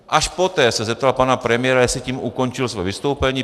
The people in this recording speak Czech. Až poté se zeptal pana premiéra, jestli tím ukončil své vystoupení.